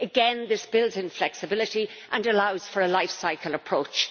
again this builds in flexibility and allows for a life cycle approach.